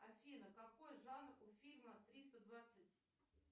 афина какой жанр у фильма триста двадцать